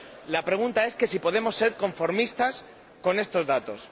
La pregunta es si podemos ser conformistas con estos datos.